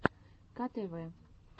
ктв